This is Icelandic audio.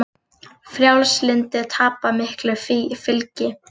Frjálslyndir tapa miklu fylgi